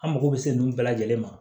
An mako bɛ se ninnu bɛɛ lajɛlen ma